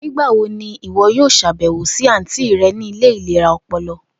Nigbawo ni iwọ yoo ṣabẹwo si anti rẹ ni ile ilera ọpọlọ?